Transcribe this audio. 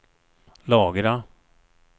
lagra